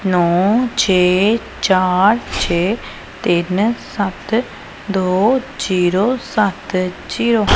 ਨੋ ਛੇ ਚਾਰ ਛੇ ਤਿੰਨ ਸੱਤ ਦੋ ਜ਼ੀਰੋ ਸੱਤ ਜ਼ੀਰੋ ।